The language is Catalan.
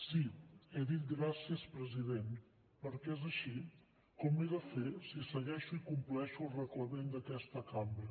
sí he dit gràcies president perquè és així com ho he de fer si segueixo i compleixo el reglament d’aquesta cambra